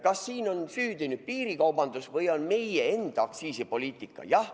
Kas siin on süüdi piirikaubandus või meie enda aktsiisipoliitika?